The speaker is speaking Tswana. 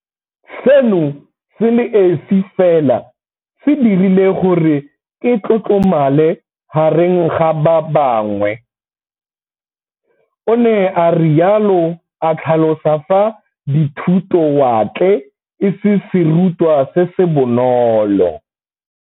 Seno se le esi fela se dirile gore ke tlotlomale gareng ga ba bangwe, o ne a rialo, a tlhalosa fa dithutowatle e se serutwa se se bonolo.